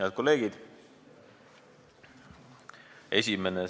Head kolleegid!